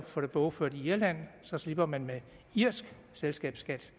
får det bogført i irland slipper man med irsk selskabsskat